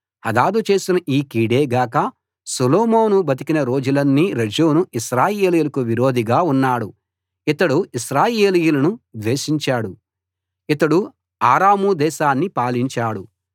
హదదు చేసిన ఈ కీడే గాక సొలొమోను బతికిన రోజులన్నీ రెజోను ఇశ్రాయేలీయులకు విరోధిగా ఉన్నాడు ఇతడు ఇశ్రాయేలీయులను ద్వేషించాడు ఇతడు అరాము దేశాన్ని పాలించాడు